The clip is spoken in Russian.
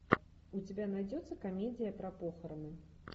у тебя найдется комедия про похороны